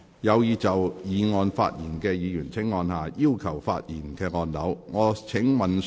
有意就議案發言的議員請按下"要求發言"按鈕。